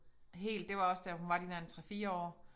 Helt det var også da hun var de der en 3 4 år